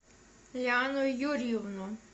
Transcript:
лиану юрьевну